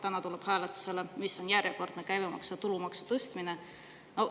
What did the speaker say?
Täna tuleb hääletusele julgeolekumaks, mis tähendab järjekordset käibemaksu ja tulumaksu tõstmist.